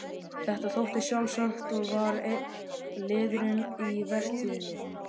Þetta þótti sjálfsagt og var einn liðurinn í vertíðinni.